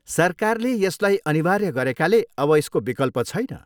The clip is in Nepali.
सरकारले यसलाई अनिवार्य गरेकाले अब यसको विकल्प छैन।